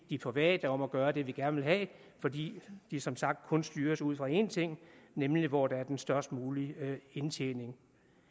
de private om at gøre det vi vil gerne have fordi de som sagt kun styres ud fra én ting nemlig hvor der er den størst mulige indtjening